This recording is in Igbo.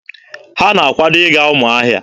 Ha na-akwado ịga Ụmụahịa.